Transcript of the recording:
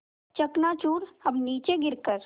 चकनाचूर अब नीचे गिर कर